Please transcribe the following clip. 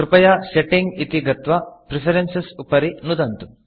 कृपया Settingसेट्टिंग् इति गत्वा Preferenceप्रिफरेन्स् उपरि नुदन्तु